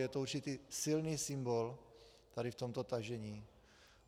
Je to určitý silný symbol tady v tomto tažení.